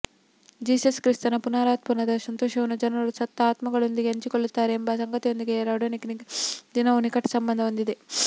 Jesus ಕ್ರಿಸ್ತನ ಪುನರುತ್ಥಾನದ ಸಂತೋಷವನ್ನು ಜನರು ಸತ್ತ ಆತ್ಮಗಳೊಂದಿಗೆ ಹಂಚಿಕೊಳ್ಳುತ್ತಾರೆ ಎಂಬ ಸಂಗತಿಯೊಂದಿಗೆ ರಾಡೋನಿಕ ದಿನವು ನಿಕಟ ಸಂಬಂಧ ಹೊಂದಿದೆ